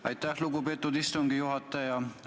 Aitäh, lugupeetud istungi juhataja!